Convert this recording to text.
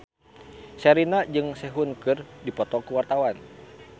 Sherina jeung Sehun keur dipoto ku wartawan